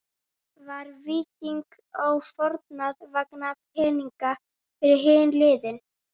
Var Víking Ó fórnað vegna peninga fyrir hin liðin?